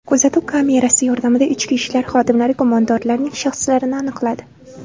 Kuzatuv kamerasi yordamida ichki ishlar xodimlari gumondorlarning shaxslarini aniqladi.